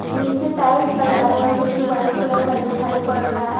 नीचे टाइल्स लगाया हुआ जो की वाइट कलर का दिखाई पड़ रहा है।